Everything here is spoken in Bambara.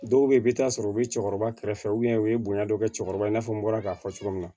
Dɔw bɛ yen i bɛ taa sɔrɔ u bɛ cɛkɔrɔba kɛrɛfɛ u ye bonya dɔ kɛ cɛkɔrɔba in n'a fɔ n bɔra k'a fɔ cogo min na